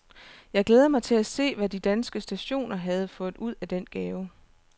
Jeg glædede mig til at se hvad de danske stationer havde fået ud af den gave.